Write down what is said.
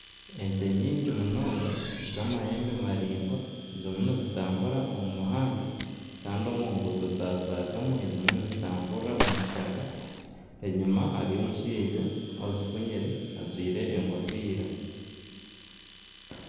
Ente nyingi munonga z'amahembe maringwa zirimu nizitambura omu muhanda Kandi omunguuto zashagamu ezimwe nizi tamburira omu kishaka. Enyima hariyo omushaija ozifunyire ajwaire enkofiira.